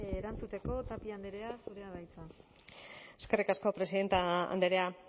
erantzuteko tapia andrea zurea da hitza eskerrik asko presidente andrea